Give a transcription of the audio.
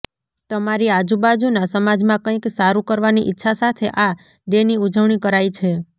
તમારી આજુબાજુના સમાજમાં કંઈક સારું કરવાની ઈચ્છા સાથે આ ડે ની ઉજવણી કરાય છે